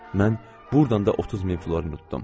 Mən burdan da 30 min florin udum.